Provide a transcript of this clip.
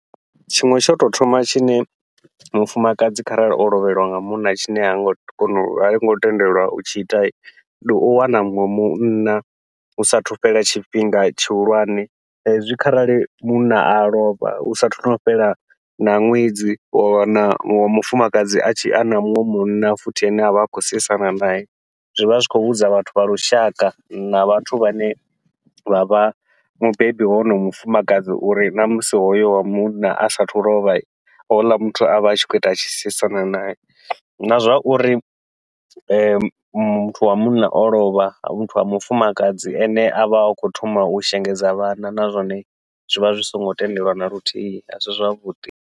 Tshiṅwe tsha utou thoma tshine mufumakadzi kharali o lovheliwa nga munna tshine hango kona hango tendelwa u tshi ita, ndi u wana muṅwe munna hu sathu fhela tshifhinga tshihulwane hezwi kharali munna a lovha hu sathu fhela na ṅwedzi wa wana muṅwe mufumakadzi a tshi ana muṅwe munna futhi ane avha a khou seisana nae, zwivha zwi khou vhudza vhathu vha lushaka na vhathu vhane vha vha mubebi wa wonoyo mufumakadzi uri namusi hoyo wa munna asa athu u lovha houḽa muthu avha a tshi khou ita atshi seisana nae. Na zwauri muthu wa munna o lovha muthu wa mufumakadzi ene avha a khou thoma u shengedza vhana, na zwone zwivha zwi songo tendelwa naluthihi asi zwavhuḓi.